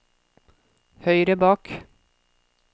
høyre bak